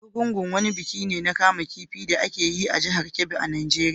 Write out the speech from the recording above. Argungu wani biki ne na kama kifi da ake yi a jihar Kebbi a Najeriya.